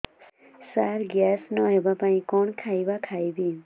ସାର gas ନ ହେବା ପାଇଁ କଣ ଖାଇବା ଖାଇବି